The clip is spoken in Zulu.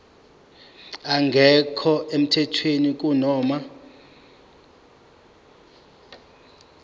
engekho emthethweni kunoma